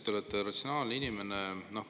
Te ütlesite, et te olete ratsionaalne inimene.